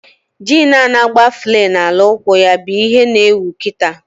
Jin a-na agba flay na ala ụkwụ ya bụ ihe na ewu kịta